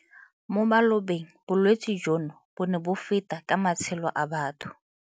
Mo malobeng bolwetse jono bo ne bo feta ka matshelo a batho.